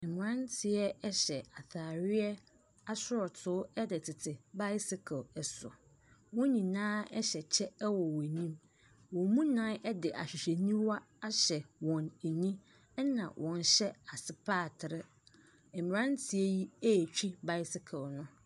Aberanteɛ hyɛ ataadeɛ asorɔtoo de tete bicycle so, wɔn nyinaa hyɛ kyɛ wɔ wɔn anim. Wɔn mu nnan de ahwehwɛniwa ahyɛ wɔn ani na wɔhyɛ asopatere. Mmerante yi ɛretwi bicycle no.